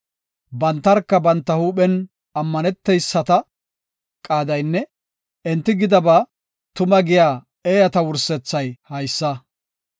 Bantarka banta huuphen ammaneteyisata qaadaynne enti gidaba tuma giya eeyata wursethay haysa. Salaha